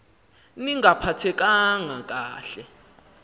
ni ngaphathekanga kakuhle